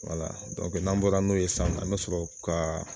n'an bɔra n'o ye sa, an be sɔrɔ ka